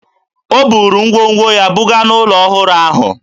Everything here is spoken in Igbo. O buru ngwongwo ya buga n'ụlọ ọhụrụ ahụ